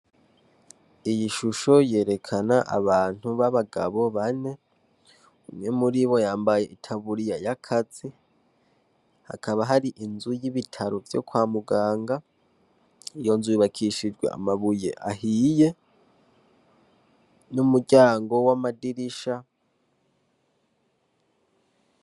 Iyi shusho yerekana abantu b'abagabo bane umwe muri bo yambaye itaburiya ya kazi hakaba hari inzu y'ibitaro vyo kwa muganga iyo nzu yubakishijwe amabuye ahiye n'umuryango w'amadirisha